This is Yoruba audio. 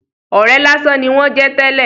Ọ̀rẹ́ lásán ni wón jẹ́ tẹ́lè.